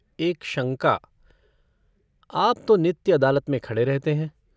एक शंका - आप तो नित्य अदालत में खड़े रहते हैं।